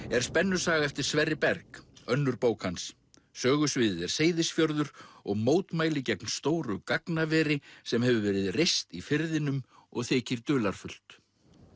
er spennusaga eftir Sverri Berg önnur bók hans sögusviðið er Seyðisfjörður og mótmæli gegn stóru gagnaveri sem hefur verið reist í firðinum og þykir dularfullt